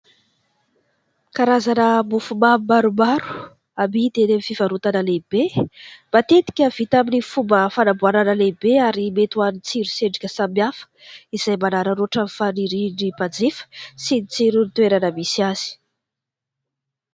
Karazana mofomamy maromaro amidy eny amin'ny fivarotana lehibe, matetika vita amin'ny fomba fanamboarana lehibe ary mety ho an'ny tsiro sy endrika samihafa izay manararaotra ny fanirian'ny mpanjifa sy ny tsiron'ny toerana misy azy.